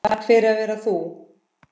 Takk fyrir að vera þú.